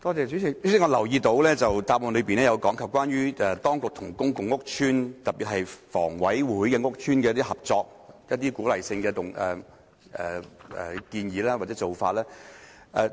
主席，我留意到主體答覆有提及關於當局與公共屋邨，特別是房委會轄下屋邨的合作，以及一些鼓勵的建議或做法。